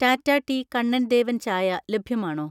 Tata tea Kannan Devan ചായ ലഭ്യമാണോ?